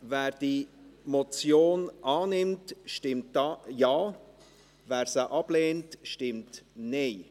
Wer die Motion annimmt, stimmt Ja, wer sie ablehnt, stimmt Nein.